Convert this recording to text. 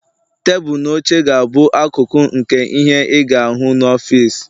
Tebụl na oche ga-abụ akụkụ nke ihe ị ga-ahụ n'ọfịs